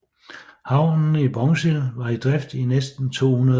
Havnen i Bongsil var i drift i næsten 200 år